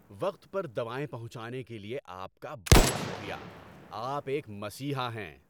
وقت پر دوائیں پہنچانے کے لیے آپ کا بہت شکریہ۔ آپ ایک مسیحا ہیں۔